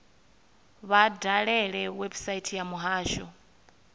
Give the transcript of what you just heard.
vha dalele website ya muhasho